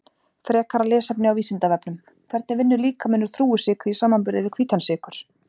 Frekara lesefni á Vísindavefnum: Hvernig vinnur líkaminn úr þrúgusykri í samanburði við hvítan sykur?